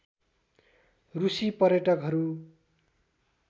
रूसी पर्यटकहरू